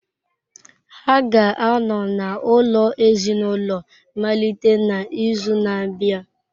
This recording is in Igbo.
Ha ga-anọ n’ụlọ ezinaụlọ malite n’izu na-abịa.